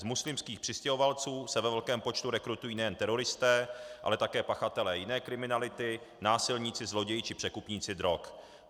Z muslimských přistěhovalců se ve velkém počtu rekrutují nejen teroristé, ale také pachatelé jiné kriminality, násilníci, zloději či překupníci drog.